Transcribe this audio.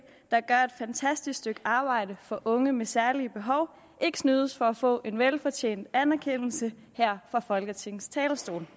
der gør et fantastisk stykke arbejde for unge med særlige behov ikke snydes for at få en velfortjent anerkendelse her fra folketingets talerstol